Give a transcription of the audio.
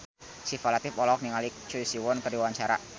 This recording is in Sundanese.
Syifa Latief olohok ningali Choi Siwon keur diwawancara